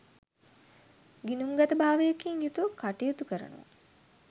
ගිණුම්ගතභාවයකින් යුතුව කටයුතු කරනවා